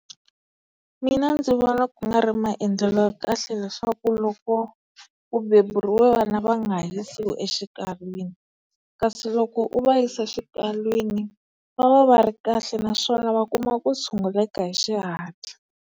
Mina ndzi vona ku nga ri maendlelo ya kahle leswaku loko ku beburiwe vana va nga ha yisiwi exikalwini kasi loko u va yisa xikalwini va va va ri kahle naswona va kuma ku tshunguleka hi xihatla.